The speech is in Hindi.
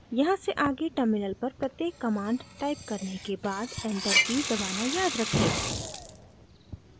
यहाँ से आगे terminal पर प्रत्येक command टाइप करने के बाद enter key दबाना याद रखें